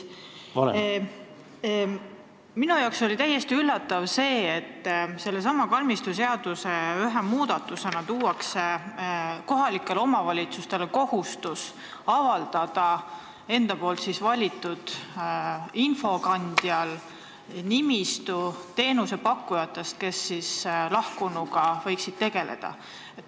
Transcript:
Minu jaoks oli täiesti üllatav, et selle kalmistuseaduse ühe muudatusega pannakse kohalikele omavalitsustele kohustus avaldada enda valitud infokandjal nimistu teenusepakkujatest, kes lahkunutega võiksid tegeleda.